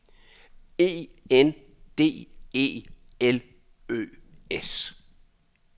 E N D E L Ø S